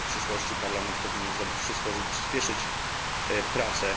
Uważam, że w przyszłości Parlament powinien zrobić wszystko, żeby przyspieszyć prace.